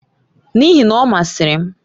N'ihi na, ọ masịrị m.